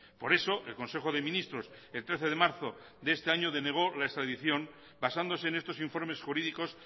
por eso el consejo de ministros el trece de marzo de este año denegó la extradición basándose en estos informes jurídicos